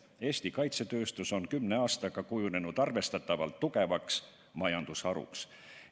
Eesti kaitsetööstus on kümne aastaga kujunenud arvestatavalt tugevaks majandusharuks.